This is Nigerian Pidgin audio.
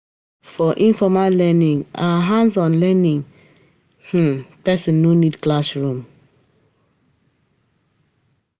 For informal learning and hands-on learning, um person no need classroom